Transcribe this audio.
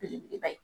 Belebeleba ye